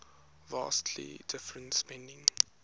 vastly different spending